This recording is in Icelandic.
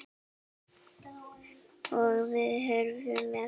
Og var horfinn með.